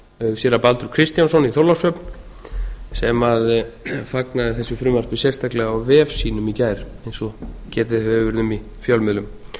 séra baldur kristjánsson í þorlákshöfn sem fagnaði þessu frumvarpi sérstaklega á vef sínum í gær eins og getið hefur verið um í fjölmiðlum